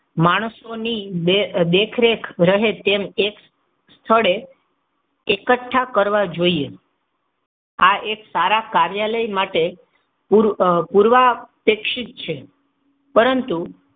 માણસોની દેખરેખ રહે તેમ કે સ્થળે એકઠા કરવા જોઈએ. આ એક સારા કાર્યાલય માટે પૂર્વ શિક્ષિત છે. પરંતુ,